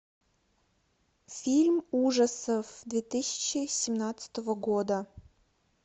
фильм ужасов две тысячи семнадцатого года